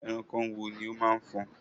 Ẹranko wo ni ó máa ń fọn?